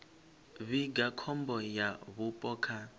vhiga khombo ya vhupo kha